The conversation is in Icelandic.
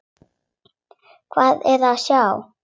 Hvað er að sjá